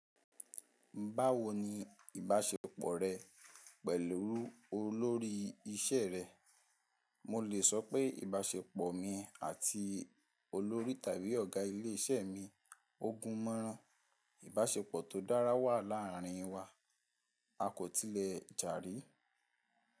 "Báwo ni ìbáṣepọ̀ rẹ pẹ̀lú olórí iṣẹ́ rẹ?" Mo lè sọ pé ìbáṣepọ̀ mi àti olórí tàbí ọ̀gá ilé-iṣẹ́ mi o gún mọ́ran. Ìbáṣepọ̀ tó dára wà láàrín wa, a kò tilẹ̀ jarí.